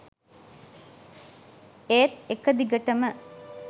ඒත් එකදිගටම